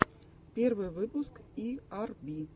первый выпуск и ар би